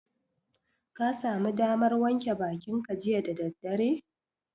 Ka sami damar wanke bakinka jiya da daddare?